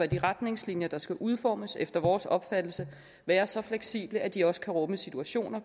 de retningslinjer der skal udformes efter vores opfattelse være så fleksible at de også kan rumme situationer